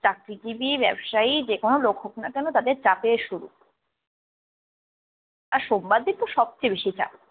চাকরিজীবী ব্যবসায়ী যেকোনো লোক হোক না কেন তাদের চাকরির শুরু। আর সোমবার দিনতো সবচেয়ে বেশি চাপ।